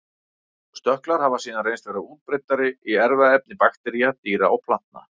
Stökklar hafa síðan reynst vera útbreiddir í erfðaefni baktería, dýra og plantna.